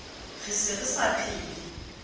re se re sa phele